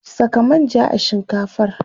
Saka manja a shinkafar.